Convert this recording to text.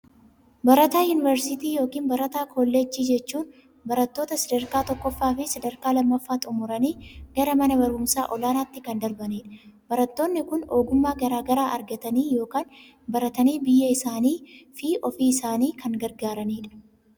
Barataa yuunivarsiitii ykn barataa kooleejjii jechuun baratoota sadarkaa tokkoffaa fi sadarkaa lammaffaa xummuranii gara mana barumsaa olaanatti kan darbanidha. Barattoonni kun ogummaa garaa garaa argatanii ykn baratannii biyya isaanii fi ofii isaanii kan gargaaranidha.